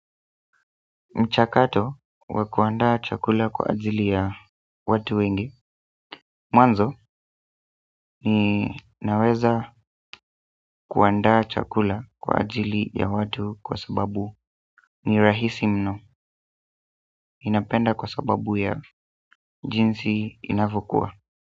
Mchakato wa kuandaa chakula kwa ajili ya watu wengi mwanzo ninaweza kuandaa chakula kwa ajili ya watu kwa sababu ni rahisi mno ninapenda kwa sababu ya jinsi inavokuwa.